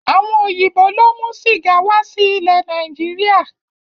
Àwọn òyìnbó ló mú sìgá wá sí ilẹ Nàìjíríà